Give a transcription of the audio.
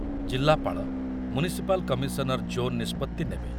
ଜିଲ୍ଲାପାଳ, municipal commissioner zone ନିଷ୍ପତ୍ତି ନେବେ।